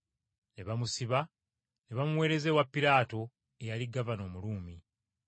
Ne bamusiba, ne bamuweereza ewa Piraato eyali gavana Omuruumi.